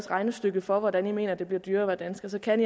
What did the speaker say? regnestykke for hvordan man mener at det bliver dyrere at være dansker så kan